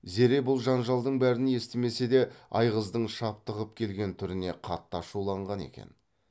зере бұл жанжалдың бәрін естімесе де айғыздың шаптығып келген түріне қатты ашуланған екен